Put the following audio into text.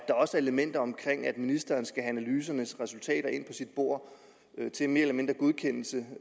elementer af at ministeren skal have analysernes resultater ind på sit bord til mere eller mindre godkendelse